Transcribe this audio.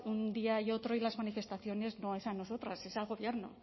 un día y otro y las manifestaciones no es a nosotras es al gobierno